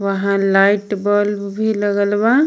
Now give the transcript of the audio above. वहा light bulb भी लगल बा.